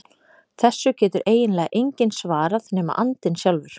Þessu getur eiginlega enginn svarað nema andinn sjálfur.